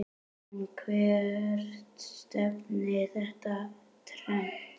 En hvert stefnir þetta trend?